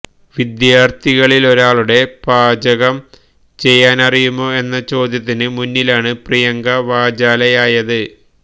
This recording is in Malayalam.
വിദ്യാര്ത്ഥികളിലൊരാളുടെ പാചകം ചെയ്യാനറിയാമോ എന്ന ചോദ്യത്തിന് മുന്നിലാണ് പ്രിയങ്ക വാചാലയായത്